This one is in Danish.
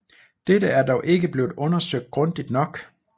Dette er dog ikke blevet undersøgt grundigt nok